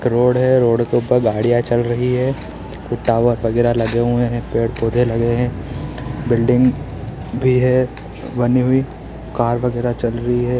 एक रोड है रोड के ऊपर गाड़ियां चल रही हैं। कुछ टावर वगेरा लगे हुए है पेड़-पौधे लगे हैं। बिल्डिंग भी है बनी हुई कार वगैरह चल रही है।